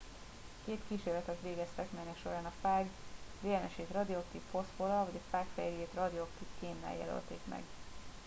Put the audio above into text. két kísérletet végeztek melynek során a fág dns ét radioaktív foszforral vagy a fág fehérjéjét radioaktív kénnel jelölték meg